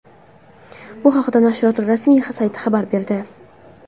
Bu haqda nashriyot rasmiy sayti xabar berdi .